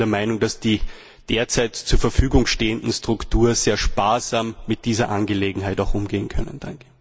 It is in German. Ich bin der Meinung, dass die derzeit zur Verfügung stehenden Strukturen sehr sparsam mit dieser Angelegenheit umgehen können.